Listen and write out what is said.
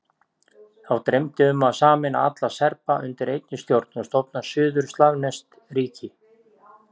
Þá dreymdi um að sameina alla Serba undir einni stjórn og stofna suður-slavneskt ríki.